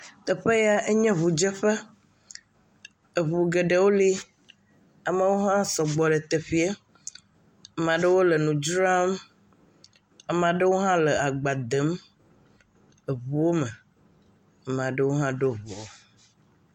Teƒe yae nye ŋudzeƒe. Eŋu geɖewo li. Amewo hã sɔgbɔ ɖe teƒeɛ. Ama ɖewo le nu dzram. Ama ɖewo hã le agba dèm eŋuwome. Ama ɖewo hã ɖo ŋu.